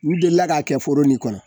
U delila k'a kɛ foro nin kɔnɔ.